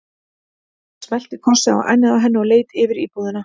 Hann smellti kossi á ennið á henni og leit yfir íbúðina.